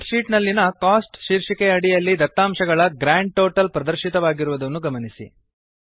spread sheet ನಲ್ಲಿನ cost ಶೀರ್ಷಿಕೆಯ ಅಡಿಯಲ್ಲಿ ದತ್ತಾಂಶಗಳ ಗ್ರಾಂಡ್ ಟೋಟಲ್ ಪ್ರದರ್ಶಿತವಾಗಿರುವುದನ್ನು ಗಮನಿಸಿ